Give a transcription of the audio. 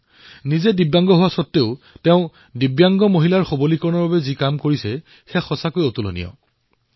নিজে দিব্যাংগ হোৱা স্বত্বেও তেওঁ দিব্যাংগ মহিলাৰ উত্থানৰ বাবে যি কাম কৰিলে তেনে উদাহৰণ পোৱা অতিশয় কঠিন